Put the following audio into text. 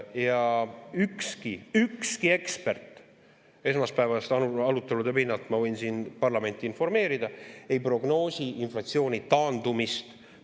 Ja ükski ekspert – esmaspäevaste arutelude pinnalt ma võin siin parlamenti informeerida – ei prognoosi inflatsiooni taandumist.